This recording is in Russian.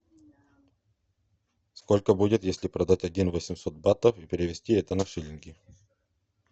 сколько будет если продать один восемьсот батов и перевести это на шиллинги